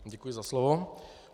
Děkuji za slovo.